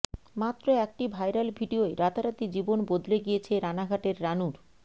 মাত্র একটি ভাইরাল ভিডিওয় রাতারাতি জীবন বদলে গিয়েছে রানাঘাটের রানুর